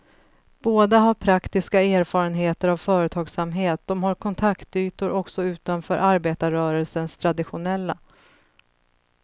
Båda har praktiska erfarenheter av företagsamhet, de har kontaktytor också utanför arbetarrörelsens traditionella.